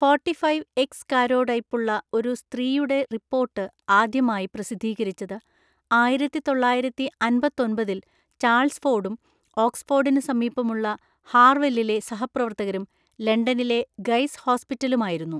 Forty-five X കാരോടൈപ്പുള്ള ഒരു സ്ത്രീയുടെ റിപ്പോർട്ട് ആദ്യമായി പ്രസിദ്ധീകരിച്ചത് ആയിരത്തിതൊള്ളായിരത്തിഅന്‍പത്തൊമ്പതിൽ ചാൾസ് ഫോർഡും ഓക്‌സ്‌ഫോർഡിന് സമീപമുള്ള ഹാർവെല്ലിലെ സഹപ്രവർത്തകരും ലണ്ടനിലെ ഗയ്‌സ് ഹോസ്പിറ്റലുമായിരുന്നു.